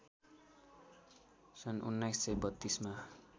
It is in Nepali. सन् १९३२ मा